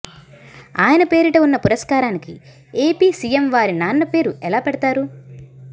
ఆయన పేరిట ఉన్న పురస్కారానికి ఏపీ సీఎం వారి నాన్న పేరు ఎలా పెడతారు